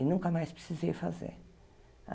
E nunca mais precisei fazer.